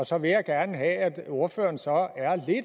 så vil jeg gerne have at ordføreren så